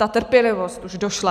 Ta trpělivost už došla.